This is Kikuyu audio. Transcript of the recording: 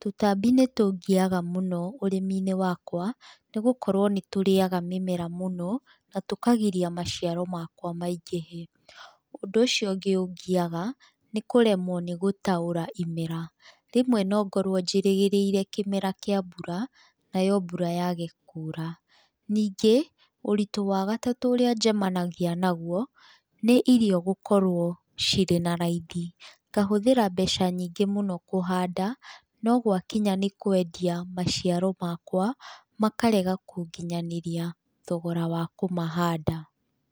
Tũtambi nĩ tũngiaga mũno ũrĩminĩ wakwa, nĩgũkorwo nĩ tũrĩaga mĩmera mũno, na tũkagiria maciaro makwa maingĩhe. Ũndũ ũcio ũngĩ ũngiaga, nĩ kũremwo nĩ gũtaũra imera, rĩmwe no ngorwo njĩrĩgĩrĩire kĩmera kĩa mbura, nayo mbura yaage kuura. Ningĩ, ũritũ wa gatatũ ũrĩa njemanagia naguo, nĩ irio gũkorwo cirĩ na raithi, ngahũthĩra mbeca nyingĩ mũno kũhanda, no gwakinya nĩ kwendia maciaro makwa, makarega gũkinyanĩria thogora wa kũmahanda.